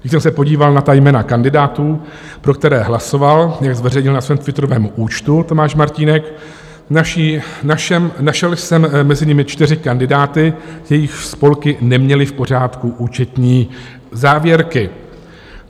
Když jsem se podíval na ta jména kandidátů, pro které hlasoval, jak zveřejnil na svém twitterovém účtu Tomáš Martínek, našel jsem mezi nimi čtyři kandidáty, jejichž spolky neměly v pořádku účetní závěrky.